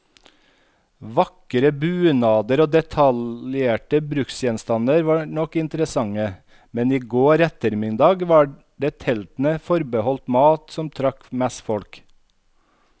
Vakre bunader og detaljerte bruksgjenstander var nok interessante, men i går ettermiddag var det teltene forbeholdt mat, som trakk mest folk.